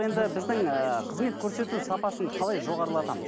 енді біздің ыыы қызмет көрсету сапасын қалай жоғарылатамыз